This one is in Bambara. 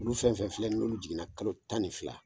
Olu fɛn fɛn filɛ n'olu jiginna kalo tan ni fila.